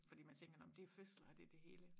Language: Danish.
Fordi man tænker nå men det jo fødsler og det det hele